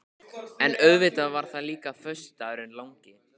En auðvitað var það líka föstudagurinn langi.